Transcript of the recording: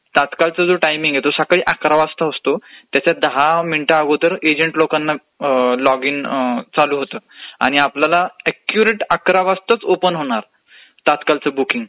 तात्काळचा जो टाइमिंग आहे हे तू सकाळी अकरा वाजता असतो त्याच्यात दहा मिनिट अगोदर एजंट लोकांना लॉग इन चालू होतं आणि आपल्याला ऍक्युरेट अकरा वाजताच ओपन होणार तात्काळचं बुकींग